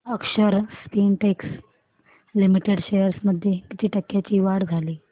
अक्षर Spintex limited shares मध्ये किती टक्क्यांची वाढ झाली